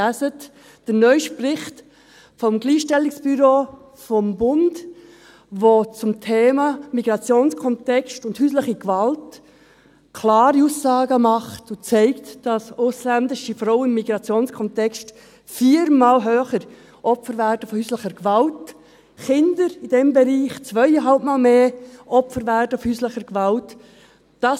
Lesen Sie den neusten Bericht des Gleichstellungsbüros des Bundes, welcher zum Thema Migrationskontext und häusliche Gewalt klare Aussagen macht und zeigt, dass ausländische Frauen im Migrationskontext viermal mehr Opfer von häuslicher Gewalt werden, Kinder in diesem Bereich zweieinhalbmal mehr Opfer von häuslicher Gewalt werden.